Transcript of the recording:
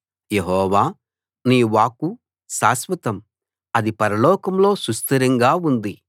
యెహోవా నీ వాక్కు శాశ్వతం అది పరలోకంలో సుస్థిరంగా ఉంది